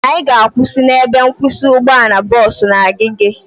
Anyị ga-akwụsị n'ebe nkwụsị ụgbọala bọọsu na Agege